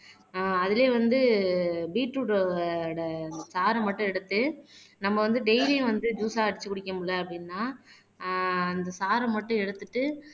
ஆஹ் அதிலயே வந்து பீட்ரூட்டோட சாறை மட்டும் எடுத்து நம்ம வந்து டெய்லியும் வந்து ஜூஸ்ஸா அரைச்சு குடிக்க முடியலை அப்படின்னா ஆஹ் அந்த சாறை மட்டும் எடுத்துட்டு